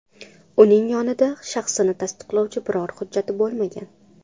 Uning yonida shaxsini tasdiqlovchi biror hujjati bo‘lmagan.